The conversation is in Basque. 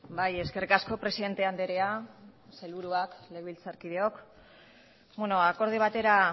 bai eskerrik asko presidente andrea sailburuak legebiltzarkideok beno ba akordio batera